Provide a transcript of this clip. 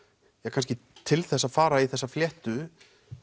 kannski til þess að fara í þessa fléttu